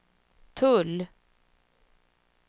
tull